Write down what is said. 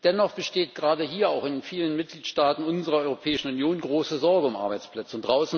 Dennoch besteht gerade hier auch in vielen Mitgliedstaaten unserer Europäischen Union große Sorge um Arbeitsplätze.